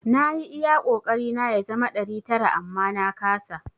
Na yi iya kokari na ya zama ɗari tara amma na kasa.